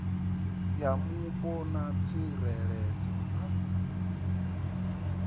ya mupo na tsireledzo na